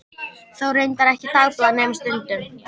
Þó reyndar ekki dagblað nema stundum.